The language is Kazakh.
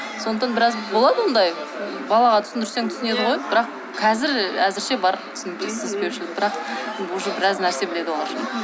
сондықтан біраз болады ондай балаға түсіндірсең түсінеді ғой бірақ қазір әзірше бар түсініспеушілік бірақ уже біраз нәрсе біледі олар